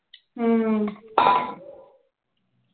ਹਮ